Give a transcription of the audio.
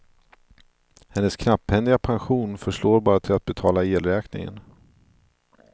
Hennes knapphändiga pension förslår bara till att betala elräkningen.